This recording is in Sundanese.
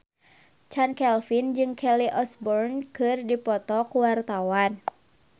Chand Kelvin jeung Kelly Osbourne keur dipoto ku wartawan